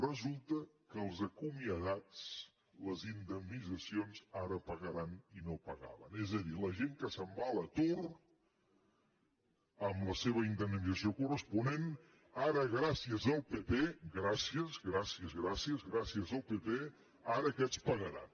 resulta que els acomiadats en les indemnitzacions ara pagaran i no pagaven és a dir la gent que se’n va a l’atur amb la seva indemnització corresponent ara gràcies al pp gràcies gràcies gràcies gràcies al pp ara aquests pagaran